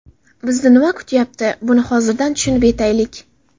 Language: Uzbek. Bizni nima kutyapti, buni hozirdan tushunib yetaylik.